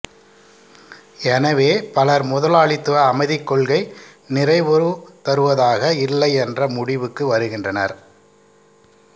எனவே பலர் முதலாளித்துவ அமைதிக் கொள்கை நிறைவுதருவதாக இல்லை என்ற முடிவுக்கு வருகின்றனர்